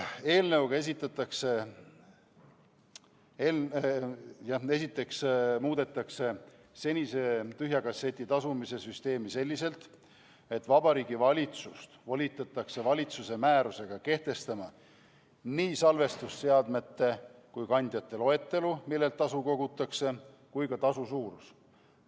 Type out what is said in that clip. Eelnõuga muudetakse esiteks senise tühja kasseti tasumise süsteemi selliselt, et Vabariigi Valitsust volitatakse määrusega kehtestama nii salvestusseadmete ja ‑kandjate loetelu, millelt tasu kogutakse, kui ka tasu suurus.